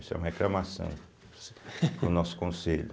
Isso é uma reclamação para o nosso conselho.